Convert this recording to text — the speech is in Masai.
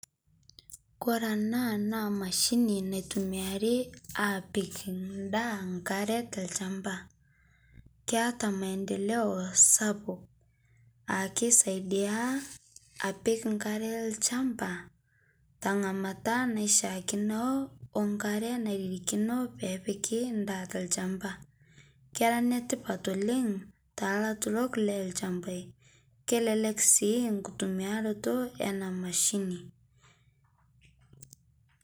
Kore ena naa mashini naitumiari apik endaa nkare tolchamba keata maendeleo sapuk naa kisaidia apik nkare olchamba tengamata naishikino onkare nairirikino pee epiki ndaa tolchamba kera netipat oleng telarurok loolchambai kelelek sii kitumiarato ena mashini.